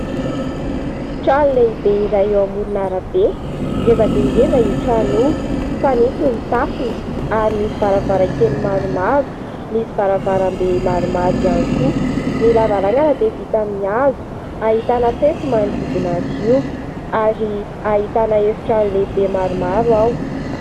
Trano lehibe iray eo amoron'arabe. Ngeza dia ngeza io trano io. Fanitso ny tafony ary misy varavarankely maromaro, misy varavarambe maromaro ihany koa. Ny lavarangana dia vita amin'ny hazo. Ahitana fefy manodidina azy io ary ahitana efitrano lehibe maromaro ao.